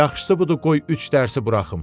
Yaxşısı budur qoy üç dərsi buraxım.